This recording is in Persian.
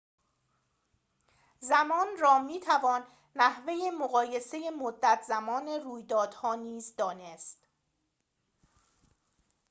زمان را می‌توان نحوه مقایسه مدت‌زمان طول رویدادها نیز دانست